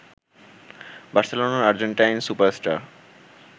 বার্সেলোনার Argentine super star